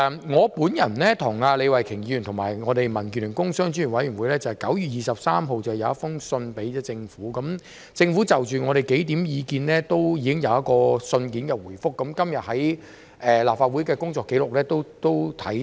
我、李慧琼議員和民建聯工商專業委員會在9月23日致函政府，政府就我們數項意見作了信件回覆，在今天的立法會工作紀錄也可看到。